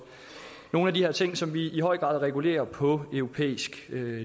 nogle af de her ting som vi i høj grad regulerer på europæisk